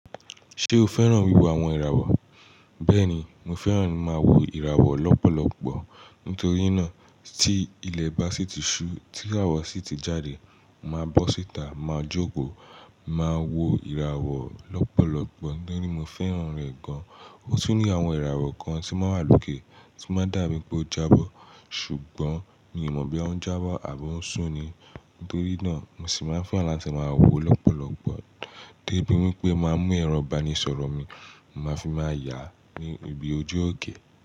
Ṣé o fẹ́ràn wíwo àwọn ìràwọ̀? Bẹ́ẹ̀ni, mo fẹ́ràn máa wo ìràwọ̀ lọ́pọ̀lọpọ̀. Nítorí náà, tí ilẹ̀ bá sì ti ṣú, tí'ràwọ sì ti jáde, màá bó síta, màá jókòó, màá wo ìràwọ̀ lọ́pọ̀lọpọ̀ torí mo fẹ́ràn rẹ̀ gan. Ó sì ní àwọn ìràwọ̀ kan tí máa ń wà lókè, tí máa ń dà bí i pé ó jábọ́. Ṣùgbọ́n mi ò mọ̀ bí ó ń jábọ̀ àbo ń sún ni. Nítorí náà, mo sì máa ń fẹ́ràn latí màá wo lọ́pọ̀lọpọ̀ débi wípé màá mú ẹrọ̀ ìbánisọ̀rọ̀ mi, màá fi máa yà ní ibi ojú òkè.